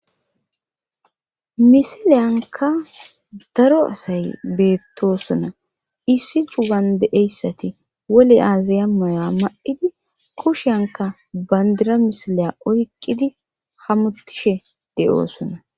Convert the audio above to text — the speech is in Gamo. Misileyanika daro asay betosona issi cugani de'eyisati wolu azeya maya ma'ida kushyanika banidira misileya oyikidi hamutishe dosona